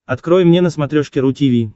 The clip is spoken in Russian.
открой мне на смотрешке ру ти ви